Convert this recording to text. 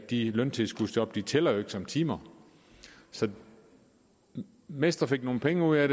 de løntilskudsjob tæller jo ikke som timer så mester fik nogle penge ud af